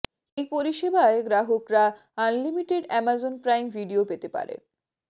এই পরিষেবায় গ্রাহকরা আনলিমিটেড অ্যামাজন প্রাইম ভিডিও পেতে পারেন